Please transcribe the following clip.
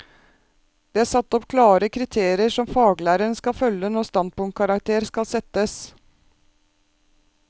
Det er satt opp klare kriterier som faglæreren skal følge når standpunktkarakter skal settes.